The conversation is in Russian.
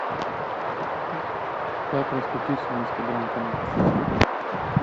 как раскрутить свой инстаграм канал